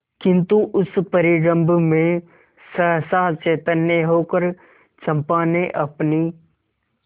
किंतु उस परिरंभ में सहसा चैतन्य होकर चंपा ने अपनी